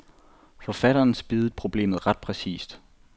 Forfatteren spiddede problemet ret præcist.